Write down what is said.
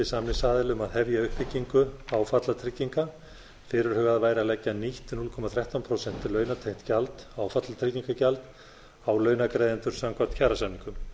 samningsaðila að hefja uppbyggingu áfallatrygginga fyrirhugað væri að leggja nýtt núll komma þrettán prósent launatengt gjald áfallatryggingagjald á launagreiðendur samkvæmt kjarasamningum